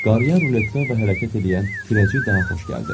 Qaryer, ruletka və hərəkət eləyən kürəcik daha xoş gəldi.